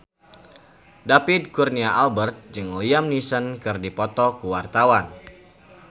David Kurnia Albert jeung Liam Neeson keur dipoto ku wartawan